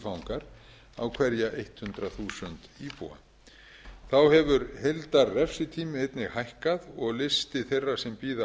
fangar á hverja hundrað þúsund íbúa þá hefur heildarrefsitími þeirra einnig hækkað og listi þeirra sem bíða